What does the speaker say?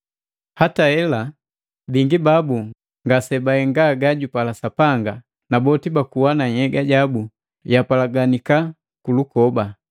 Hata hela bingi babu ngasebahenga gajupala Sapanga na boti bakuwa na nhyega yabu yapalaganika kulukoba.